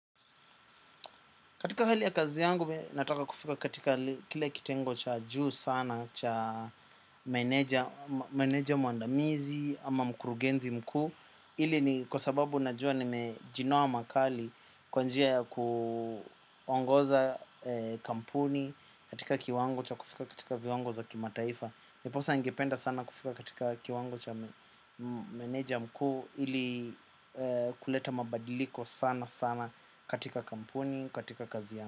Katika hali ya kazi yangu nataka kufika katika kile kitengo cha juu sana cha meneja mwandamizi ama mkurugenzi mkuu. Ili ni kwa sababu najua nimejinoa makali kwa njia ya kuongoza kampuni, katika kiwango cha kufika katika viwango za kimataifa. Ndiposa ningependa sana kufika katika kiwango cha meneja mkuu ili kuleta mabadiliko sana sana katika kampuni, katika kazi yangu.